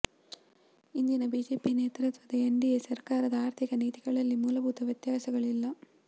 ಇಂದಿನ ಬಿಜೆಪಿ ನೇತೃತ್ವದ ಎನ್ಡಿಎ ಸರಕಾರದ ಆರ್ಥಿಕ ನೀತಿಗಳಲ್ಲಿ ಮೂಲಭೂತ ವ್ಯತ್ಯಾಸಗಳಿಲ್ಲ